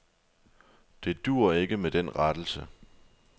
Det duer ikke med den rettelse.